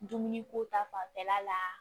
Dumuni ko ta fanfɛla la